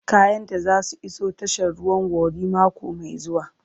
Kayanta za su iso tashar ruwan Warri mako mai zuwa.